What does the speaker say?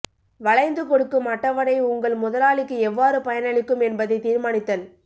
வளைந்து கொடுக்கும் அட்டவணை உங்கள் முதலாளிக்கு எவ்வாறு பயனளிக்கும் என்பதை தீர்மானித்தல்